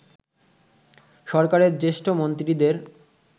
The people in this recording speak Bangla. সরকারের জ্যেষ্ঠ মন্ত্রীদের